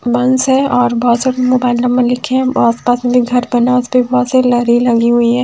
बस है और बहुत सारे मोबाइल नंबर लिखे हैं में घर बना है उस पे बहुत से लरी लगी हुई है।